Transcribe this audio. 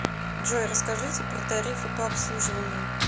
джой расскажите про тарифы по обслуживанию